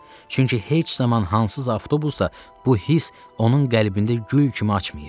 Çünki heç zaman hansısa avtobusda bu hiss onun qəlbində gül kimi açmayıb.